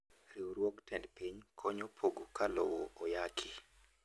Riwruog tend piny konyo pogo ka lowo oyaki.